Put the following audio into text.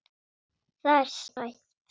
Það er sætt.